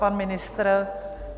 Pan ministr?